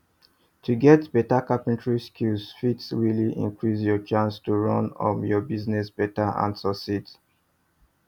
to get better carpentry skills fit really increase your chances to run up your own business better and succeed